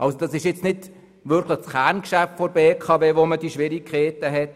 Dort, wo man diese Schwierigkeiten hat, findet nicht das Kerngeschäft der BKW statt.